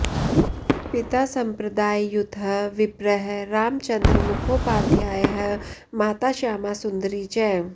पिता सम्प्रदाययुतः विप्रः रामचन्द्र मुखोपाध्यायः माता श्यामासुन्दरी च